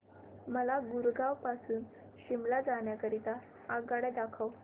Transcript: मला गुरगाव पासून शिमला जाण्या करीता आगगाड्या दाखवा